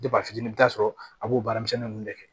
fitini i bi taa sɔrɔ a b'o baaramisɛnninw de kɛ